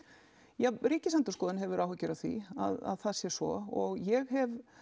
já Ríkisendurskoðun hefur áhyggjur af því að það sé svo ég hef